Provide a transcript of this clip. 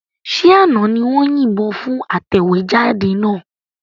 Ṣé àná ni wọ́n yìnbọn fún atẹ̀wéjáde náà?